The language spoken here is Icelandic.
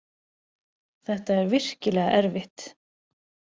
Þetta er virkilega erfitt.